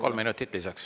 Kolm minutit lisaks.